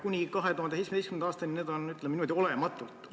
Kuni 2017. aastani olid need, ütleme niimoodi, olematud.